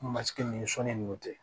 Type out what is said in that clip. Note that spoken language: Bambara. Masigini sɔn ni mɔ tɛ